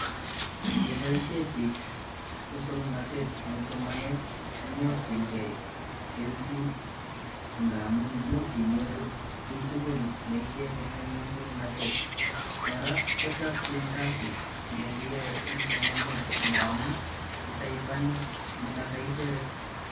Yeboisie biik muswoknotet eng somanet konyorjinkei kelchin ngamun much inyoru kiy tugul neichenge eng muswoknotet, kora kochokchin kasit ne kiyoe eng somanet, ngamun itaiponi ne koto isire.